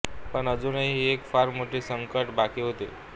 पण अजूनही एक फार मोठे संकट बाकी होते